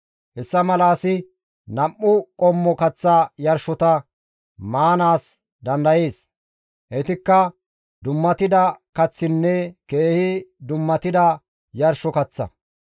Hessa mala asi nam7u qommo kaththa yarshota maanaas dandayees; heytikka dummatida kaththinne keehi dummatida yarsho kaththa.